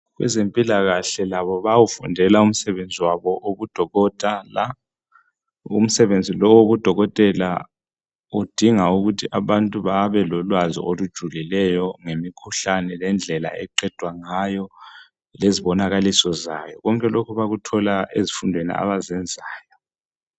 Abezempilakahle labo bayawufundela umsebenzi wabo wobudokotela umsebenzi lowu owobudokotela udinga ukuthi abantu babelolwazi olujulileyo ngemikhuhlane lendlela eqedwa ngayo lezbonakaliso zayo konke lokhu bakuthola ezifundweni abazenzayo.